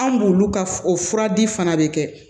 An b'olu ka o fura di fana de kɛ